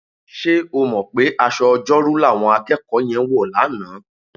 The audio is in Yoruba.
Ṣé o mọ̀ pé aṣọ Ọjọ́rú làwọn akẹ́kọ̀ọ́ yẹn wọ̀ lánàá?